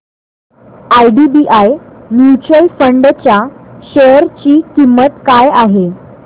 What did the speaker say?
IDBI mutual fund च्या share ची किंमत काय आहे